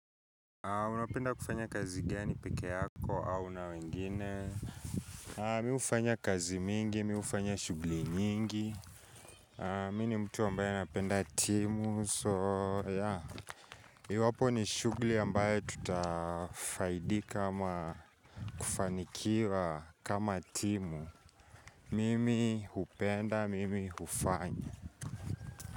Unapenda kufanya kazi gani peke yako au na wengine Mi hufanya kazi mingi, mi hufanya shughuli nyingi Mi ni mtu ambaye napenda timu so yeah, iwapo ni shughuli ambaye tutafaidika ama kufanikiwa kama timu Mimi hupenda, mimi hufanya.